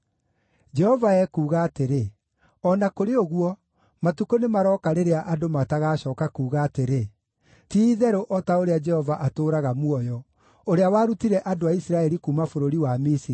Jehova ekuuga atĩrĩ, “O na kũrĩ ũguo, matukũ nĩmarooka rĩrĩa andũ matagacooka kuuga atĩrĩ, ‘Ti-itherũ o ta ũrĩa Jehova atũũraga muoyo, ũrĩa warutire andũ a Isiraeli kuuma bũrũri wa Misiri,’